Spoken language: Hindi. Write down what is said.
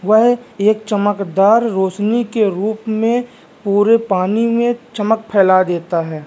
वह एक चमकदार रोशनी के रूप में पूरे पानी में चमक फैला देता है।